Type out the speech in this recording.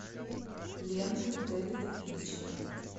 ленты дэвида финчера